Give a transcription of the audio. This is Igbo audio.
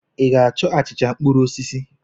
Ị ga-achọ achịcha mkpụrụ osisi?